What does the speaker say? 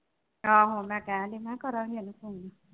ਆਹੋ ਮੈਂ ਕਹਿਣ ਡਈ ਨਾ ਕਰਾਂਗੀ ਉਹਨੂੰ phone